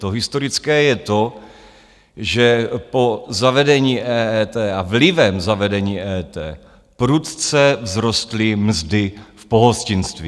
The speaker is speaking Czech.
To historické je to, že po zavedení EET a vlivem zavedení EET prudce vzrostly mzdy v pohostinství.